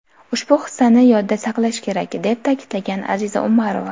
Ushbu hissani yodda saqlash kerak”, deb ta’kidlagan Aziza Umarova.